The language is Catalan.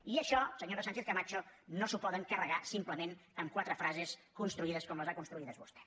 i això senyora sánchez camacho no s’ho poden carregar simplement amb quatre frases construïdes com les ha construïdes vostè